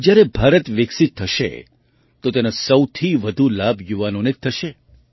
જ્યારે ભારત વિકસિત થશે તો તેનો સૌથી વધુ લાભ યુવાઓને જ થશે